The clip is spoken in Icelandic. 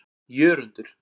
Jörundur